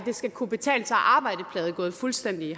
skal kunne betale sig at arbejde plade fuldstændig i